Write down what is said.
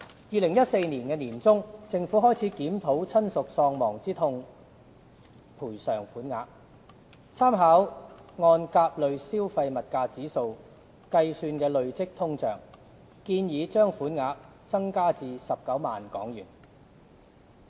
2014年年中，政府開始檢討親屬喪亡之痛賠償款額，參考按甲類消費物價指數計算的累積通脹，建議把款額增加至19萬元。